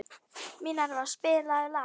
Minerva, spilaðu lag.